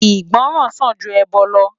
Igbòrán sán jú èbò lò